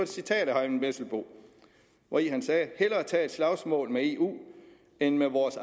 citat af herre eyvind vesselbo hvori han sagde vi hellere tage et slagsmål med eu end med vores